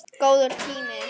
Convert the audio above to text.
Góður tími.